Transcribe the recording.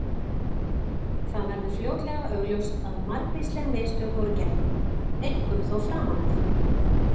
Það verður fljótlega augljóst að margvísleg mistök voru gerð, einkum þó framan af.